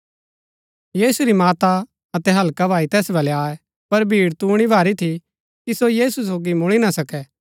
यीशु री माता अतै हल्का भाई तैस वलै आये पर भीड़ तूणी भारी थी कि सो यीशु सोगी मुळी ना सकै